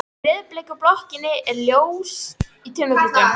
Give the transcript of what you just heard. Í rauðbleiku blokkinni er ljós í tveimur gluggum.